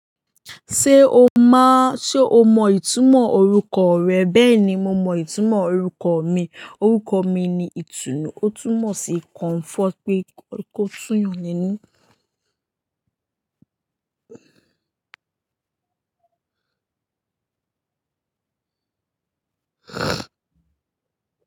Ṣé o má, ṣe o mọ ìtumọ̀ orúkọ rẹ̀? Bẹ́ẹ̀ ni mo mọ ìtumọ̀ orúkọ mi. Orúkọ mi ni Itunu, ó tún mọ̀ sí Comfort pé kó tún yàn nínú.